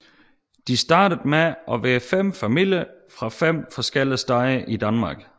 De startede med at være fem familier fra fem forskellige steder i Danmark